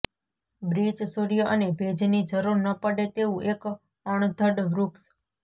breach સૂર્ય અને ભેજની જરૂર ન પડે તેવું એક અણઘડ વૃક્ષ